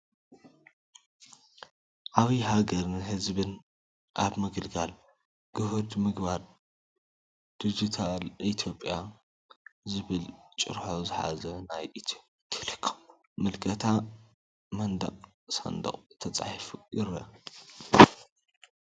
"ዓብይ ሃገርን ህዝብን ኣብ ምግልጋል" "ግሁድ ምግባር ድጅታል ኢትዮጵያ" ዝብል ጭርሖ ዝሓዘ ናይ ኢትዮ ቴሌኮም ምልክታ ኣብ መንደቅን ሳንዱቅ ተፃሒፋ ይርአ፡፡